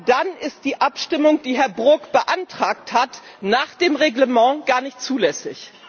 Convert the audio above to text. dann ist die Abstimmung, die Herr Brok beantragt hat, nach der Geschäftsordnung gar nicht zulässig.